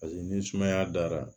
Paseke ni sumaya dara